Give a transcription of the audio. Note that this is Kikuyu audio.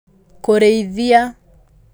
Kũrĩithia;